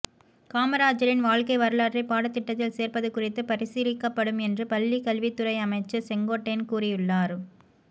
காமராஜரின் வாழ்க்கை வரலாற்றை பாடத் திட்டத்தில் சேர்ப்பது குறித்து பரிசீலிக்கப்படும் என்று பள்ளிக்கல்வித் துறை அமைச்சர் செங்கோட்டையன் கூறியுள்ளார்